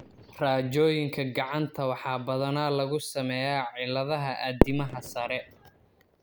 Raajooyinka gacanta waxaa badanaa lagu sameeyaa cilladaha addimada sare.